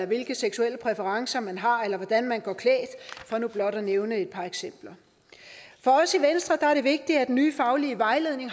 hvilke seksuelle præferencer man har eller hvordan man går klædt for nu blot at nævne et par eksempler for os i venstre er det vigtigt at den nye faglige vejledning